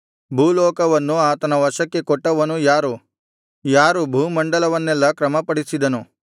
ಭೂಲೋಕವನ್ನು ಆತನ ವಶಕ್ಕೆ ಕೊಟ್ಟವನು ಯಾರು ಯಾರು ಭೂಮಂಡಲವನ್ನೆಲ್ಲಾ ಕ್ರಮಪಡಿಸಿದನು